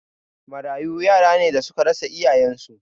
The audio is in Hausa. Marayu yara ne da suka rasa iyayen su